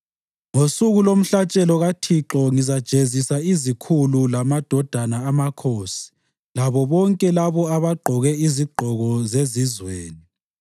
Ngosuku lomhlatshelo kaThixo ngizajezisa izikhulu lamadodana amakhosi labo bonke labo abagqoke izigqoko zezizweni.